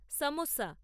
samosa